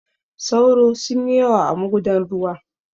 Sauro sun yi yawa a magudan ruwa.